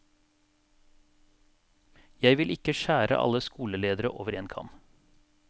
Jeg vil ikke skjære alle skoleledere over én kam.